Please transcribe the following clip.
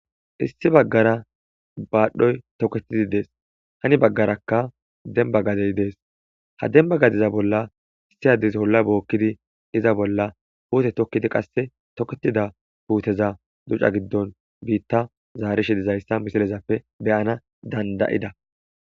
issi baggara baadhdhoy toketidi dees hani baggarakka demba gadey dees ha demba gadiza bolla issi addis olla bookkidi iza bolla puute tokkidi qasse toketida puuteza duca giddon biitta zaarishi dizayssa misilezappe beyana dandayida